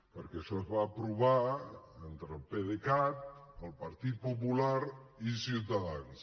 perquè això es va aprovar entre el pdecat el partit popular i ciutadans